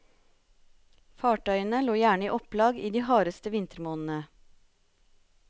Fartøyene lå gjerne i opplag i de hardeste vintermånedene.